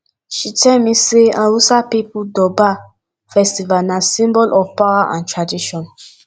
she tell me sey for hausa pipo durbar festival na symbol of power and tradition